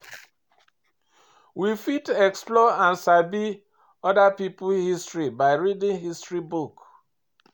we fit explore and sabi oda pipo history by reading history book